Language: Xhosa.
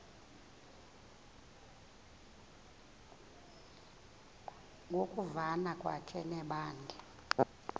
ngokuvana kwakhe nebandla